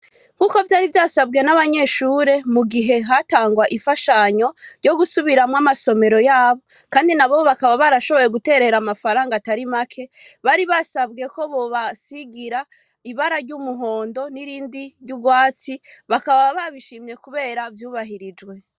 Nk'uko vyari vyasabwe n'abanyeshure mu gihe hatangwa ifashanyo ryo gusubiramwo amasomero yabo, kandi na bo bakaba barashoboye guterera amafaranga atari make bari basabwe ko bobasigira ibara ry'umuhondo n'irindi ry'urwatsi bakaba babishimye, kubera vyubahirijwe.